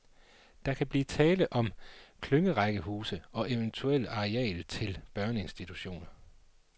Der kan blive tale om klyngerækkehuse og eventuelt areal til børneinstitutioner.